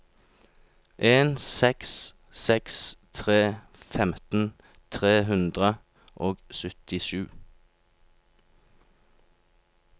en seks seks tre femten tre hundre og syttisju